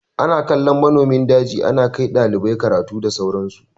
Ana kallon namomin daji, ana kai ɗalibai karatu da sauran su.